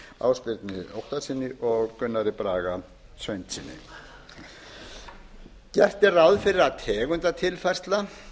kristni guðfinnssyni ásbirni óttarssyni og gunnari braga sveinssyni gert er ráð fyrir að tegundatilfærsla